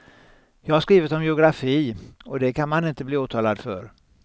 Jag har skrivit om geografi och det kan man inte bli åtalad för.